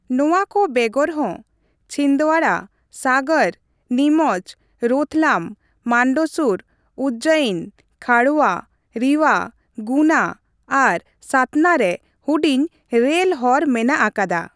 ᱱᱚᱣᱟ ᱠᱚ ᱵᱮᱜᱚᱨ ᱦᱚᱸ, ᱪᱷᱤᱱᱫᱣᱟᱲᱟ, ᱥᱟᱜᱚᱨ, ᱱᱤᱢᱚᱪ, ᱨᱳᱛᱷᱞᱟᱢ, ᱢᱟᱱᱰᱥᱩᱨ, ᱩᱡᱡᱚᱭᱱᱤ, ᱠᱷᱟᱸᱰᱣᱟ, ᱨᱤᱣᱟ, ᱜᱩᱱᱟ ᱟᱨ ᱥᱟᱛᱱᱟ ᱨᱮ ᱦᱩᱰᱤᱧ ᱨᱮᱞ ᱦᱚᱨ ᱢᱮᱱᱟᱜ ᱟᱠᱟᱫᱟ ᱾